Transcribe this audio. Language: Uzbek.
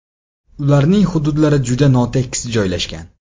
Ularning hududlari juda notekis joylashgan.